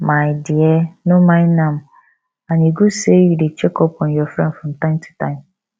my dear no mind am and e good say you dey check up on your friend from time to time